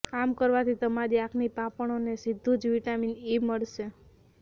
આમ કરવાથી તમારી આંખની પાપણોને સીધું જ વિટામીન ઈ મળશે